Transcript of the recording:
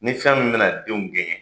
Ni fɛn min bɛna denw kɛɲɛ